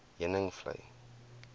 heuningvlei